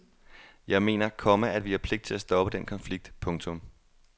Jeg mener, komma at vi har pligt til at stoppe den konflikt. punktum